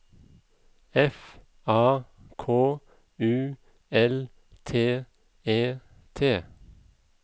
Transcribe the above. F A K U L T E T